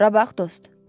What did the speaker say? Bura bax dost.